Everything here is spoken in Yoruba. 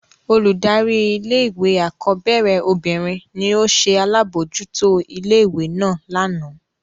Oludari ìlé-ìwé akọbẹrẹ obinrin ni o ṣe alabojuto ìlé-ìwé náa làná.